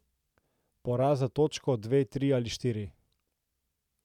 Poraz za točko, dve, tri ali štiri...